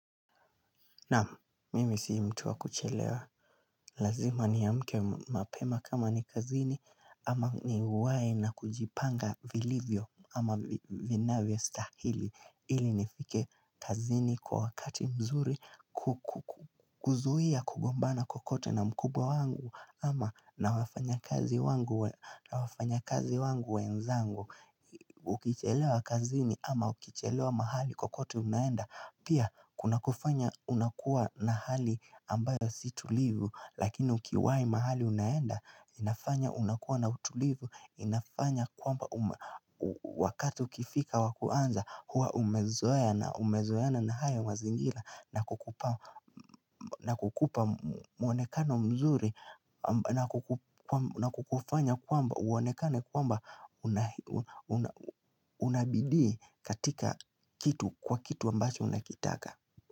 Naam, mimi sii mtu wa kuchelewa. Lazima ni amke mapema kama ni kazini ama ni uwai na kujipanga vilivyo ama vina vyo stahili. Ili nifike kazini kwa wakati mzuri kuzuia kugombana kwa kokote na mkubwa wangu ama na wafanya kazi wangu we nzangu. Ukichelewa kazini ama ukichelewa mahali kwa kokote unaenda. Pia kuna kufanya unakuwa na hali ambayo si tulivu lakini ukiwai mahali unaenda inafanya unakuwa na utulivu inafanya kwamba wakati ukifika wa kuanza huwa umezoea umezoeana na hayo mazingira nakukupa na kukupa mwonekano mzuri na kukufanya kwamba uonekane kwamba una unabidii katika kitu kwa kitu ambacho unakitaka.